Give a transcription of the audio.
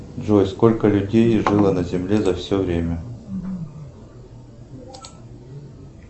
джой сколько людей жило на земле за все время